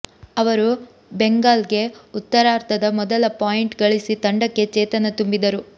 ಅವರು ಬೆಂಗಾಲ್ಗೆ ಉತ್ತರಾರ್ಧದ ಮೊದಲ ಪಾಯಿಂಟ್ ಗಳಿಸಿ ತಂಡಕ್ಕೆ ಚೇತನ ತುಂಬಿದರು